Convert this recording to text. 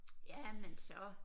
Ja men så